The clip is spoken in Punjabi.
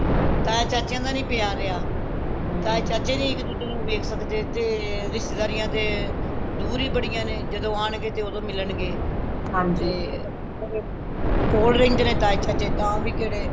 ਤਾਏ ਚਾਚੇਆ ਦਾ ਪਿਆਰ ਰਹੀਆਂ ਤਾਏ ਚਾਚੇ ਨੀ ਇੱਕ ਦੂੱਜੇ ਨੂੰ ਵੇਖ ਸਕਦੇ ਤੇ ਰਿਸ਼ਤੇਦਾਰੀਆਂ ਤੇ ਦੂਰ ਹੂ ਬੜੀਆਂ ਨੇ ਜਦੋ ਆਣ ਗਏ ਤੇ ਓਦੋ ਮਿਲਣ ਗੇ ਕੋਲ ਰਹਿੰਦੇ ਨੇ ਤਾਏ ਚਾਚੇ ਤਾ ਵੀ ਕਿਹੜੇ